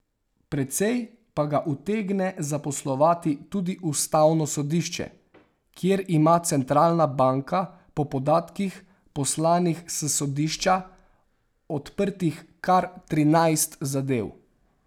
Precej pa ga utegne zaposlovati tudi ustavno sodišče, kjer ima centralna banka po podatkih, poslanih s sodišča, odprtih kar trinajst zadev.